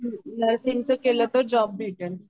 nursing च केल तर जोब भेटल